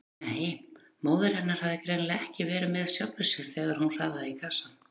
Nei, móðir hennar hafði greinilega ekki verið með sjálfri sér þegar hún raðaði í kassann.